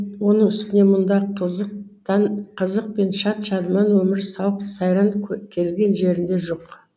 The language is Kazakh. оны үстіне мұнда қызық пен шат шадыман өмір сауық сайран келген жеріңде жоқ